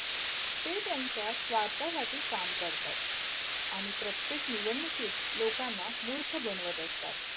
ते त्यांच्या स्वार्थासाठी काम करतात आणि प्रत्येक निवडणुकीत लोकांना मूर्ख बनवत असतात.